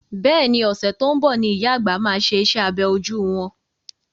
Bẹ́ẹ̀ni, ọ̀sẹ̀ tó ń bọ̀ ni ìyá àgbà máa ṣe iṣẹ́ abẹ ojú wọn.